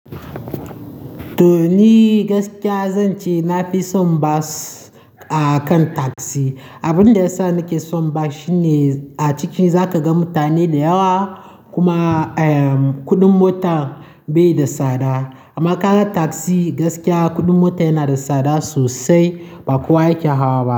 To ni gaskiya zan ce na fi son bas akan tasi. Abin da yasa na ke son bas shine a ciki zaka ga mutane dayawa kuma, eh, kudin mota bai da tsada. Amma ka ga tasi gaskiya kudin mota yana da tsada sosai ba kuwa yake hawa.